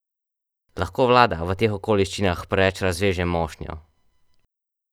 Lahko vlada v teh okoliščinah preveč razveže mošnjo?